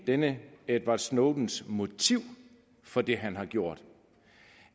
denne edward snowdens motiv for det han har gjort